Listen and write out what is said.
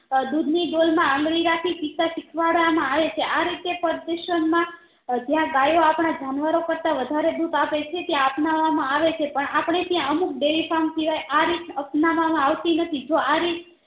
આ દુધની ડોલ માં આંગળી રાખી ટીપા ટીપા પીવરાવવા માં આવ છે આ રીતે જ્યાં ગયો આપણા જનવોરો કર તા વધારે દુધ આપે છે ત્યાં અપનાવવા માં આવે છે પણ આપણેત્યાં અમુક dairy farm સિવાય આ રીત અપનાવવા માં આવતી નથી જો આ રીત